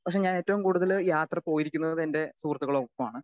Speaker 2 പക്ഷേ ഞാൻ ഏറ്റവും കൂടുതൽ യാത്ര പോയിരിക്കുന്നത് എന്റെ സുഹൃത്തുക്കളുടെ ഒപ്പമാണ്.